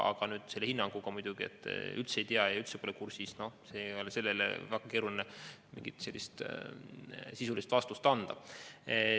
Aga see hinnang, et ma üldse ei tea ja üldse pole kursis – noh, sellele on väga keeruline sisulist vastust anda.